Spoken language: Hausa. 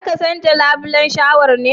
Zaka canja labulen shawar ne?\